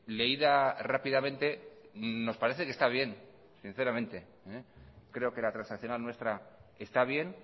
leída rápidamente nos parece que está bien sinceramente creo que la transaccional nuestra está bien